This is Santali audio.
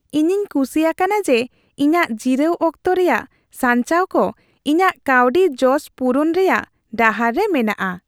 ᱤᱧᱤᱧ ᱠᱩᱥᱤ ᱟᱠᱟᱱᱟ ᱡᱮ ᱤᱧᱟᱹᱜ ᱡᱤᱨᱟᱹᱣ ᱚᱠᱛᱚ ᱨᱮᱭᱟᱜ ᱥᱟᱧᱪᱟᱣ ᱠᱚ ᱤᱧᱟᱹᱜ ᱠᱟᱹᱣᱰᱤ ᱡᱚᱥ ᱯᱩᱨᱩᱱ ᱨᱮᱭᱟᱜ ᱰᱟᱦᱟᱨ ᱨᱮ ᱢᱮᱱᱟᱜᱼᱟ ᱾